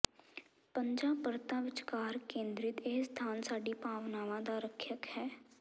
ਪੰਜਾਂ ਪਰਤਾਂ ਵਿਚਕਾਰ ਕੇਂਦਰਿਤ ਇਹ ਸਥਾਨ ਸਾਡੀ ਭਾਵਨਾਵਾਂ ਦਾ ਰੱਖਿਅਕ ਹੈ